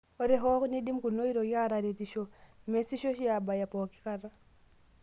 Ore hoo neidim kuna oitoi aataretisho, meesisho oshi aabaya pookikata.